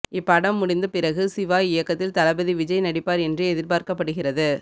இப்படம் முடிந்த பிறகு சிவா இயக்கத்தில் தளபதி விஜய் நடிப்பார் என்று எதிர்பார்க்கப்படுகிறது